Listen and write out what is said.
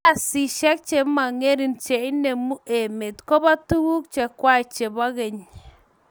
Kartasishiek chemangering cheinemu emet koba tuguk chekwai chebo geny